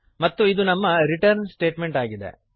ಮತ್ತು ಇದು ನಮ್ಮ ರಿಟರ್ನ್ ಸ್ಟೇಟಮೆಂಟ್ ಆಗಿದೆ